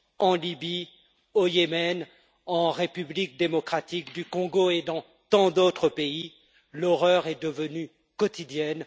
en Libye, au Yémen, en République démocratique du Congo et dans tant d'autres pays, l'horreur est devenue quotidienne.